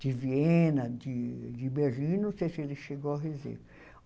de Viena, de Berlim, não sei se ele chegou.